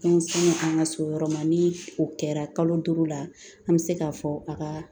An se an ka so yɔrɔ ma ni o kɛra kalo duuru la an bɛ se k'a fɔ a ka